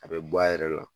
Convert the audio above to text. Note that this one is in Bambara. A bɛ bɔ a yɛrɛ la